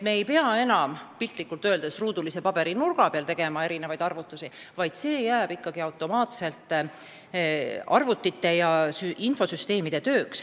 Me ei pea enam piltlikult öeldes ruudulisel paberil erinevaid arvutusi tegema, vaid see jääb ikkagi automaatselt arvutite ja infosüsteemide tööks.